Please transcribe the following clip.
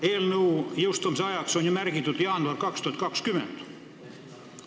Eelnõu jõustumise ajaks on ju märgitud jaanuar 2020.